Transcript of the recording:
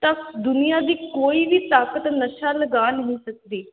ਤਾਂ ਦੁਨੀਆਂ ਦੀ ਕੋਈ ਵੀ ਤਾਕਤ ਨਸ਼ਾ ਲਗਾ ਨਹੀਂ ਸਕਦੀ,